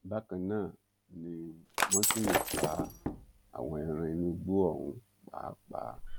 bákan náà ni wọn tún lè pa àwọn ẹran inú igbó ọ̀hún pàápàá